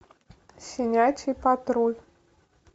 щенячий патруль